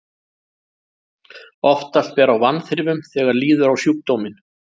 Oftast ber á vanþrifum þegar líður á sjúkdóminn.